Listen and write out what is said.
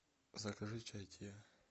закажи чай тиа